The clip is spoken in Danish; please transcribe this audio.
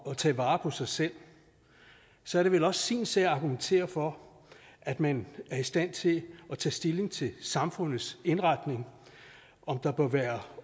at tage vare på sig selv så er det vel også sin sag at argumentere for at man er i stand til at tage stilling til samfundets indretning om der bør være